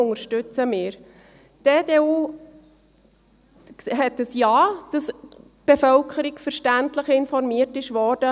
Die EDU möchte unbedingt, dass die Bevölkerung verständlich informiert wird.